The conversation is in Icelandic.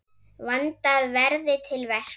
Vandað verði til verka.